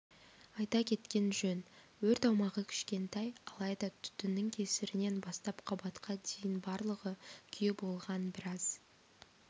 айта кеткен жөн өрт аумағы кішкентай алайда түтіннің кесірінен бастап қабатқа дейін барлығы күйе болған біраз